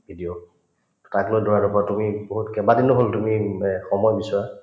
video তাক লৈ পৰা তুমি বহুত কেইবাদিনো হলো তুমি এব সময় বিচৰা